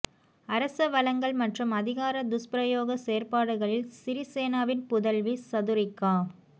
அரச வளங்கள் மற்றும் அதிகார துஷ்பிரயோக செயற்பாடுகளில் சிறிசேனவின் புதல்வி சதுரிக்கா